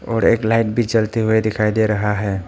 और एक लाइट भी जलते हुए दिखाई दे रहा है।